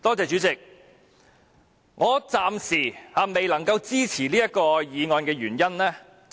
主席，我暫時未能支持此項議案。